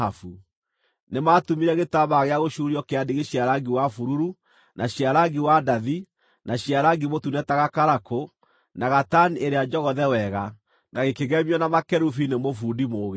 Nĩmatumire gĩtambaya gĩa gũcuurio kĩa ndigi cia rangi wa bururu, na cia rangi wa ndathi, na cia rangi mũtune ta gakarakũ, na gatani ĩrĩa njogothe wega, na gĩkĩgemio na makerubi nĩ mũbundi mũũgĩ.